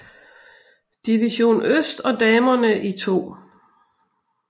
Division Øst og damerne i 2